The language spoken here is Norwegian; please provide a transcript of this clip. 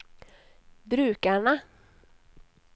brukerne